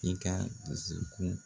I ka dusu kun